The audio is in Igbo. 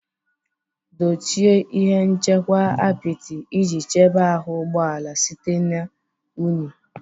Dochie ihe nchekwa apịtị iji chebe ahụ ụgbọ ala site na unyi.